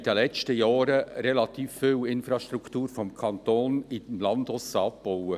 In den letzten Jahren haben wir relativ viel Infrastruktur des Kantons auf dem Land abgebaut.